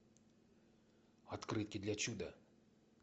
открытки для чуда